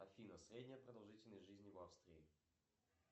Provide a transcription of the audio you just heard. афина средняя продолжительность жизни в австрии